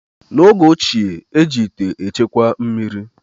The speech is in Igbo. N’oge ochie, eji ite echekwa mmiri